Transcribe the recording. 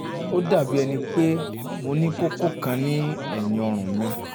ó dàbí ẹni pé um mo um ní kókó kan ní ẹ̀yìn ọrùn um mi